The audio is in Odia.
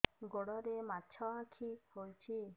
ଗୋଡ଼ରେ ମାଛଆଖି ହୋଇଛି